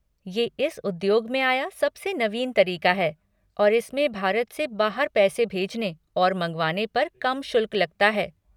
ये इस उद्योग में आया सबसे नवीन तरीक़ा है और इसमें भारत से बाहर पैसे भेजने और मँगवाने पर कम शुल्क लगता है।